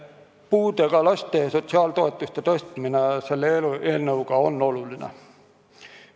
Puudega laste sotsiaaltoetuste tõstmine selle eelnõu raames on oluline.